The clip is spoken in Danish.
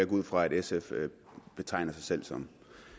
ud fra at sf betegner sig selv som